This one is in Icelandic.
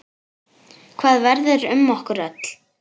Hvað verður um okkur öll?